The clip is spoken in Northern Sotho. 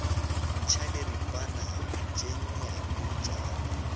ntšha diripana tše nnyane tša